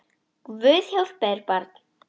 Guð hjálpi þér barn!